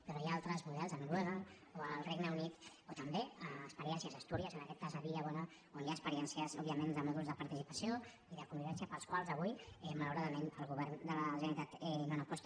però hi ha altres models a noruega o el regne unit o també experiències a astúries en aquest cas a villabona on hi ha experiències òbviament de mòduls de participació i de convivència pels quals avui malauradament el govern de la generalitat no aposta